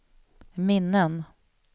minnen